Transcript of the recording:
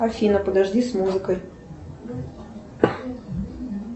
афина подожди с музыкой